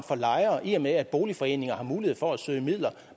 i og med at boligforeninger har mulighed for at søge midler